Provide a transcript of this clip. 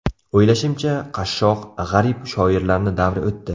O‘ylashimcha, qashshoq, g‘arib shoirlarni davri o‘tdi.